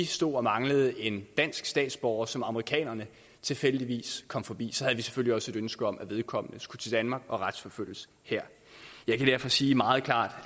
stod og manglede en dansk statsborger som amerikanerne tilfældigvis kom forbi så havde vi selvfølgelig også et ønske om at vedkommende skulle til danmark og retsforfølges her jeg kan derfor sige meget klart